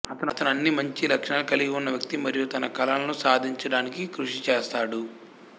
అతను అన్ని మంచి లక్షణాలను కలిగి ఉన్న వ్యక్తి మరియు తన కలలను సాధించడానికి కృషి చేస్తాడు